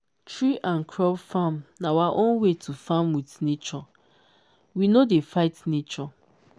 tree and crop farm na our own way to farm with nature we no dey fight nature.